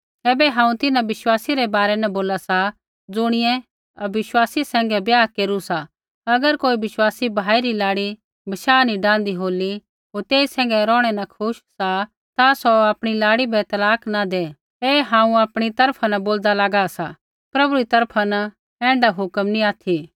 ऐबै हांऊँ तिन्हां विश्वासी रै बारै न बोला सा ज़ुणियै अविश्वासी सैंघै ब्याह केरू सा अगर कोई विश्वासी भाई री लाड़ी बशाह नी डाहन्दी होली होर तेई सैंघै रौहणै न खुश सा ता सौ आपणी लाड़ी बै तलाक न दै ऐ हांऊँ आपणी तरफा न बोलदा लागा सा प्रभु री तरफा न ऐण्ढा हुक्म नी ऑथि